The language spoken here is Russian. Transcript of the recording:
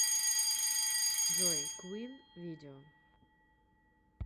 джой квин видео